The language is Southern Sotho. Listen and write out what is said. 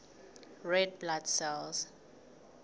red blood cells